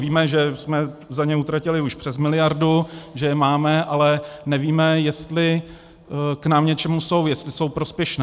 Víme, že jsme za ně utratili už přes miliardu, že je máme, ale nevíme, jestli nám k něčemu jsou, jestli jsou prospěšné.